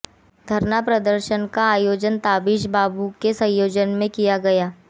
घरना प्रदर्शन का आयोजन ताबिश बाबू के संयोजन में किया गया